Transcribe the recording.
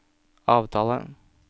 avtale